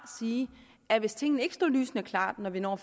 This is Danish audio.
at hvis tingene ikke står lysende klart når vi når